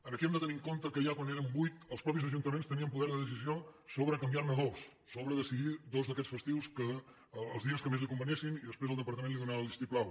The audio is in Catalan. aquí hem de tenir en compte que ja quan eren vuit els mateixos ajuntaments tenien poder de decisió sobre canviar ne dos sobre decidir dos d’aquests festius els dies que més els convinguessin i després el departament hi donava el vistiplau